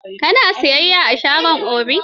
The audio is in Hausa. Ka na siyayya a shagon Obi?